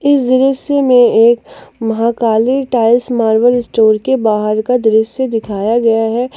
इस दृश्य में एक महाकाली टाइल्स मार्वल स्टोर के बाहर का दृश्य दिखाया गया है।